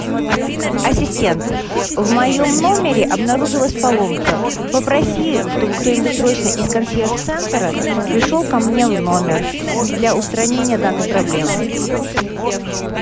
ассистент в моем номере обнаружилась поломка попроси чтобы кто нибудь срочно из консьерж центра пришел ко мне в номер для устранения данной проблемы